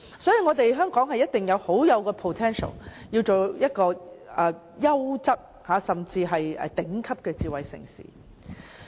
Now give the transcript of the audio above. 所以，香港一定有 potential 成為優質甚至是頂級的智慧城市。